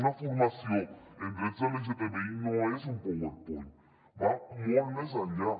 una formació en drets lgtbi no és un powerpoint va molt més enllà